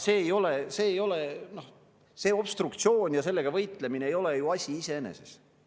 See obstruktsioon ja sellega võitlemine ei ole asi iseeneses.